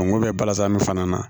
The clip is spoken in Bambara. Ngo bɛ balazan fana na